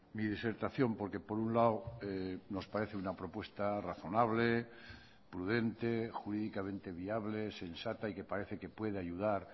mi disertación porque por un lado nos parece una propuesta razonable prudente jurídicamente viable sensata y que parece que puede ayudar